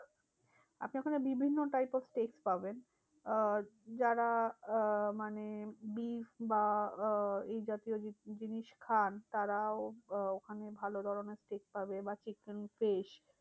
আপনি ওখানে বিভিন্ন type of flesh পাবেন। আহ যারা আহ মানে beef বা আহ এই জাতীয় জিনিস খান তারাও আহ ওখানে ভালো ধরণের flesh পাবে বা fresh